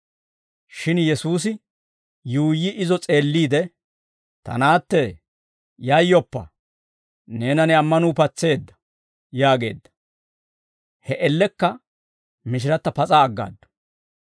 Shin Yesuusi yuuyyi izo s'eelliide, «Ta naattee, yayyoppa; neena ne ammanuu patseedda» yaageedda. He man''iyaan mishiratta pas'aa aggaaddu.